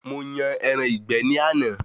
Mo yan ẹran ìgbẹ́ ní àná